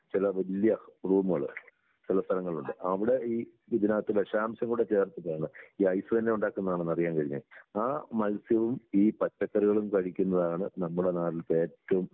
ചില വല്യ റൂമുകള് ചില സ്ഥലങ്ങളിലുണ്ട് അവിടെ ഈ ഇതിനകത്ത് വിഷാംശം കൂടെ ചേർത്തിട്ടാണ് ഈ ഐസ് തന്നെ ഉണ്ടാക്കുന്നതാണെന്ന് അറിയാൻ കഴിഞ്ഞേ. ആ മത്സ്യവും ഈ പച്ചക്കറികളും കഴിക്കുന്നതാണ് നമ്മുടെ നാട്ടിൽത്തെ ഏറ്റവും